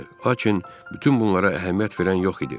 Lakin bütün bunlara əhəmiyyət verən yox idi.